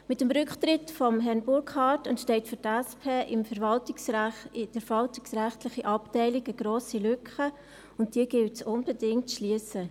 Mit dem Rücktritt von Herrn Burkhard entsteht für die SP in der verwaltungsrechtlichen Abteilung eine grosse Lücke, und diese gilt es unbedingt zu schliessen.